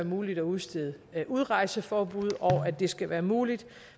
muligt at udstede udrejseforbud og at det skal være muligt